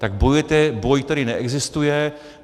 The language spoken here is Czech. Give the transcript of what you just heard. Tak bojujete boj, který neexistuje.